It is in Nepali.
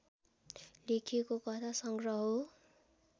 लेखिएको कथा सङ्ग्रह हो